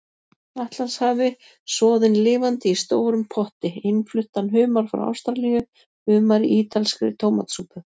Atlantshafi, soðinn lifandi í stórum potti, innfluttan humar frá Ástralíu, humar í ítalskri tómatsúpu.